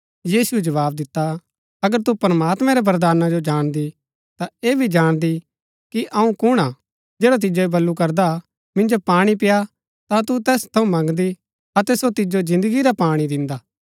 यीशुऐ जवाव दिता अगर तू प्रमात्मैं रै वरदाना जो जाणदी ता ऐह भी जाणदी कि अऊँ कुण हा जैडा तिजो ऐह वलू करदा मिन्जो पाणी पेय्आ ता तू तैस थऊँ मंगदी अतै सो तिजो जिन्दगी रा पाणी दिन्दा